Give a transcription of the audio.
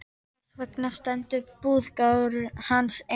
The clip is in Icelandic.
Þess vegna stendur búgarður hans enn.